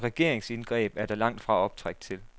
Og et regeringsindgreb er der langt fra optræk til.